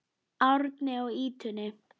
Árni á ýtunni.